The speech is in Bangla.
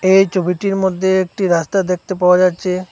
এই ছবিটির মধ্যে একটি রাস্তা দেখতে পাওয়া যাচ্ছে।